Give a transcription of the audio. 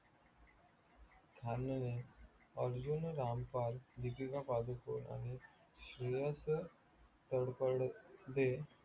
खानाने अर्जुन रामपाल दीपिका पादकोन आणि श्रेयस तळपडदे